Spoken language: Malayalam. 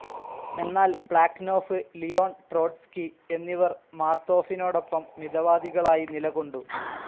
എന്നാൽ പ്ലാക്നോഫ്, ലിയോൺ ട്രോട്സ്കി എന്നിവർ മാർത്തോഫിനോടൊപ്പം മിതവാദികളായി നിലകൊണ്ടു.